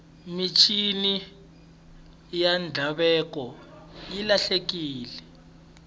mincini ya ndhavuko yi lahlekile